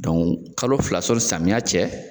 kalo fila sɔni samiya cɛ